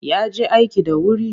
Ya je aiki da wuri.